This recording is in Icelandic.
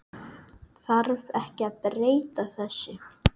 Þarf ekki að breyta þessu?